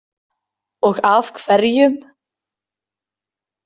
Og af hverjum?